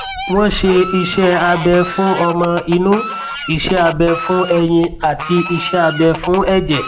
wọn ṣe iṣẹ abẹ fún ọmọ inú iṣẹ abẹ fún ẹyin àti iṣẹ abẹ fún ẹjẹ